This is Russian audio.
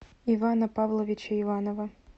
ивана павловича иванова